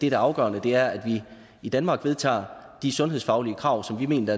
er afgørende er at vi i danmark vedtager de sundhedsfaglige krav som vi mener